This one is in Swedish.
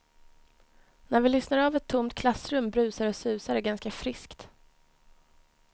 När vi lyssnar av ett tomt klassrum brusar och susar det ganska friskt.